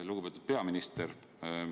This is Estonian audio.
Lugupeetud peaminister!